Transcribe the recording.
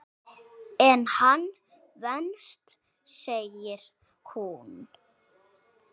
En hann venst segir hún.